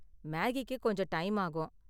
மேகிக்கு கொஞ்சம் டைம் ஆகும்.